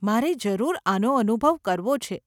મારે જરૂર આનો અનુભવ કરવો છે.